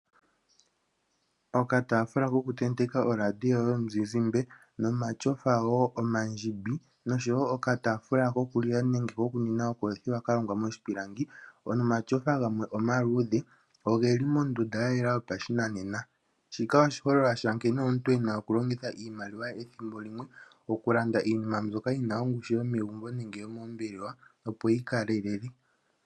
Okataafula kokutenteka oradio yomuzizimba nomatyofa wo omandjimbi noshowo okataafula kokulila nenge kokunwina ka longwa moshipilangi nomatyofa gamwe omaluudhe oge li mondunda ya yela yopashinanena. Shika oshiholelwa sha nkene omuntu e na okulongitha oshimaliwa ethimbo limwe okulanda iinima mbyoka yi na ongushu yomegumbo nenge yomoombelewa, opo yi kalelele.